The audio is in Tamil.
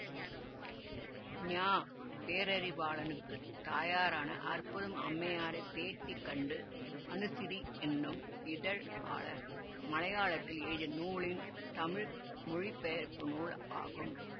ஞா பேரறிவாளனுக்கு தாயாரான அற்புதம் அம்மையாரைப் பேட்டி கண்டு அனுசிரீ என்னும் இதழாளர் மலையாளத்தில் எழுதிய நூலின் தமிழ் மொழிபெயர்ப்பு நூல் ஆகும்